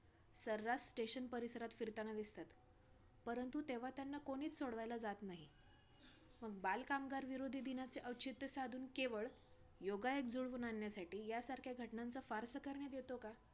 cheese onion tomato capsicum हे सगळे जे असतं ते सगळं add करतात आणि त्यामध्ये वरती अजून एक पराठ्याची ची layer ठेवतात. आणि नंतर मग ती boiler मध्ये टाकून देतात cook व्हायला.